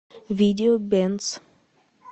видео бенз